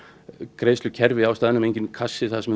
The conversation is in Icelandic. greiðslukerfi á staðnum enginn kassi þar sem